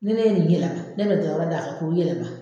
Ni ne ye nin yɛlɛma, ne bɛ dɔ wɛrɛ d'a kan k'o yɛlɛma.